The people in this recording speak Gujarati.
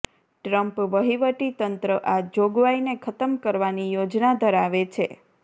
ટ્રમ્પ વહીવટીતંત્ર આ જોગવાઈને ખતમ કરવાની યોજના ધરાવે છે